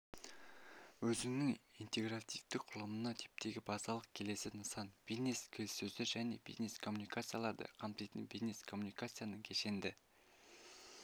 өзінің интегративтік құрылымына типтегі базалық келесі нысан бизнес-келіссөздер және бизнес-коммуникацияларды қамтитын бизнес-коммуникацияның кешенді